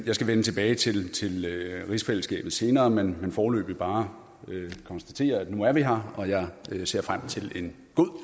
jeg skal vende tilbage til rigsfællesskabet senere men vil foreløbig bare konstatere at nu er vi her og at jeg ser frem til en god